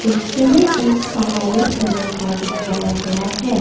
दृश्य में एक पहाड़ी एलेका दिखाया गया है।